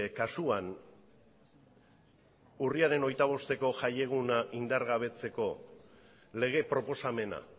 kasuan urriaren hogeita bosteko jaieguna indargabetzeko lege proposamena